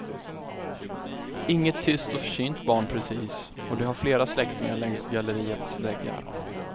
Inget tyst och försynt barn precis, och det har flera släktingar längs galleriets väggar.